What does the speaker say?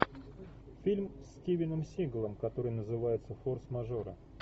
фильм с стивеном сигалом который называется форс мажоры